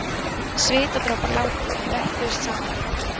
Svitadropar láku og hnöppuðust saman í polla